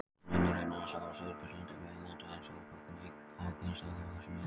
Munurinn er sá að Suðurskautslandið er meginland en suðurpóllinn einn ákveðinn staður á þessu meginlandi.